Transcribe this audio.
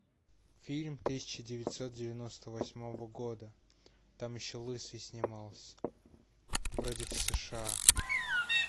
фильм тысяча девятьсот девяносто восьмого года там еще лысый снимался вроде в сша